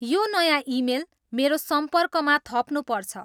यो नयाँ इमेल मेरो सम्पर्कमा थप्नुपर्छ